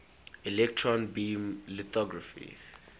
electron beam lithography